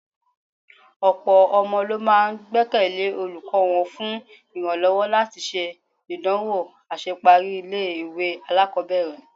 Ọ̀pọ̀ ọmọ ló máa gbẹ́kẹ̀lé olùkọ́ wọn fún ìrànlọ́wọ́ láti ṣe ìdánwò àṣeparí ilé-ìwé alákọ̀ọ́bẹ̀rẹ̀..